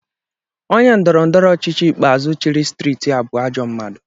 Onye ndọrọ ndọrọ ọchịchị ikpeazụ chịrị steeti a bụ ajọ mmadụ